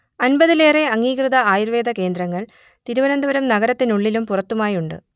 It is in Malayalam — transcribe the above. അൻപതിലേറെ അംഗീകൃത ആയുർവേദ കേന്ദ്രങ്ങൾ തിരുവനന്തപുരം നഗരത്തിനുള്ളിലും പുറത്തുമായുണ്ട്